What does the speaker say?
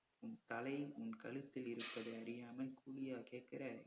உன் தலை உன் கழுத்தில் இருப்பதை அறியாமல் கூலியா கேட்குற